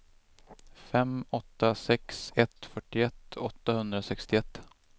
fem åtta sex ett fyrtioett åttahundrasextioett